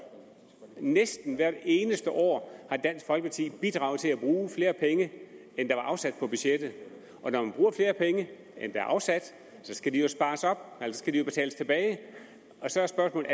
næsten hvert eneste år har dansk folkeparti bidraget til at bruge flere penge end der var afsat på budgettet og når man bruger flere penge end der er afsat skal de jo betales tilbage så er spørgsmålet